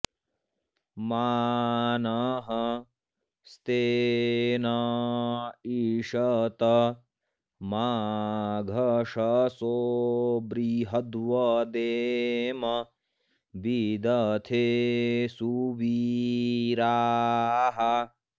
मा नः॑ स्ते॒न ई॑शत॒ माघशं॑सो बृ॒हद्व॑देम वि॒दथे॑ सु॒वीराः॑